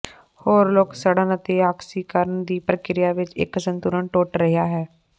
ਹੋਰ ਲੋਕ ਸੜਨ ਅਤੇ ਆਕਸੀਕਰਨ ਦੀ ਪ੍ਰਕਿਰਿਆ ਵਿੱਚ ਇੱਕ ਸੰਤੁਲਨ ਟੁੱਟ ਰਿਹਾ ਹੈ